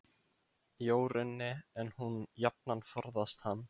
Jórunni, en hún jafnan forðast hann.